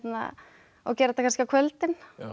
og gera þetta kannski á kvöldin